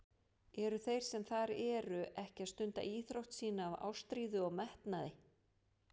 Eru þeir sem þar eru ekki að stunda íþrótt sína af ástríðu og metnaði?